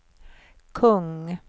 kung